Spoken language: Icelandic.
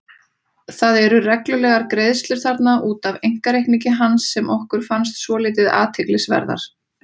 Það eru reglulegar greiðslur þarna út af einkareikningi hans sem okkur fannst svolítið athyglisverðar.